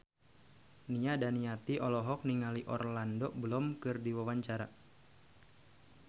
Nia Daniati olohok ningali Orlando Bloom keur diwawancara